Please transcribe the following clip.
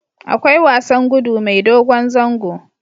Akwai wasan gudu mai dogon zango